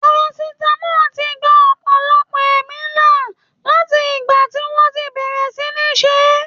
Parachutes ti gba ọ̀pọ̀lọpọ̀ ẹ̀mí là láti ìgbà tí wọ́n ti bẹ̀rẹ̀ sí níí ṣeé.